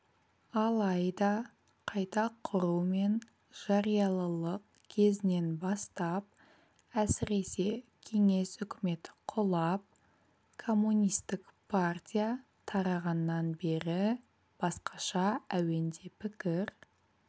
алайда қайта құру мен жариялылық кезінен бастап әсіресе кеңес үкіметі құлап коммунистік партия тарағаннан бері басқаша әуенде пікір